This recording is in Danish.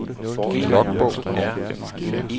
logbog